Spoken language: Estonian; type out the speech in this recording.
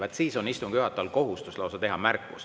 Vaat siis on istungi juhatajal lausa kohustus teha märkus.